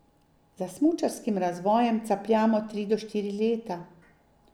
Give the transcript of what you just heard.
Za smučarskim razvojem capljamo tri do štiri leta.